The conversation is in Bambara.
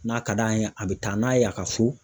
N'a ka d'a ye , a bɛ taa n'a ye a ka so.